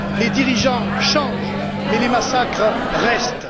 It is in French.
Les dirigeants changent mais les massacres restent.